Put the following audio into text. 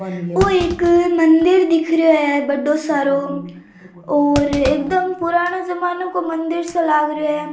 ओ एक मंदिर दिख रहा है बड़ो सारो और एकदम पुरानो जमानो का मंदिर सो लाग रहो है।